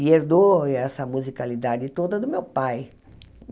E herdou essa musicalidade toda do meu pai.